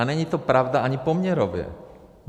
A není to pravda ani poměrově.